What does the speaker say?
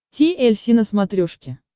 ти эль си на смотрешке